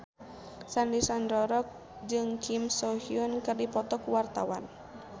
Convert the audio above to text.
Sandy Sandoro jeung Kim So Hyun keur dipoto ku wartawan